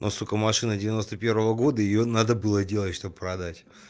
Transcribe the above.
но сука машина девяносто первого года её надо было делать чтоб продать